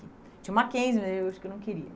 Tinha o Mackenzie né, mas eu acho que eu não queria.